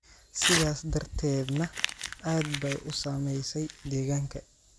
sidaas darteedna aad bay u saamaysay deegaanka